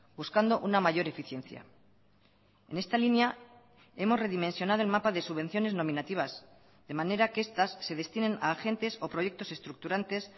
buscando una mayor eficiencia en esta línea hemos redimensionado el mapa de subvenciones nominativas de manera que estas se destinen a agentes o proyectos estructurantes